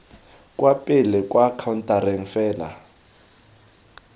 kwa pele kwa khaontareng fela